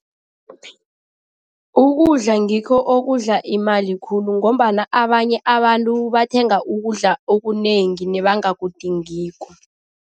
Ukudla ngikho okudla imali khulu ngombana abanye abantu bathenga ukudla okunengi nebangakudingiko.